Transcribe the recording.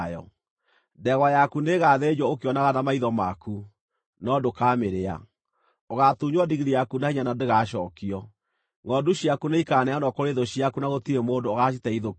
Ndegwa yaku nĩĩgathĩnjwo ũkĩonaga na maitho maku, no ndũkamĩrĩa. Ũgaatunywo ndigiri yaku na hinya na ndĩgacookio. Ngʼondu ciaku nĩikaneanwo kũrĩ thũ ciaku na gũtirĩ mũndũ ũgaaciteithũkia.